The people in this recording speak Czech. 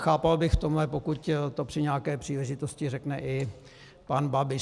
Chápal bych v tomto, pokud to při nějaké příležitosti řekne i pan Babiš.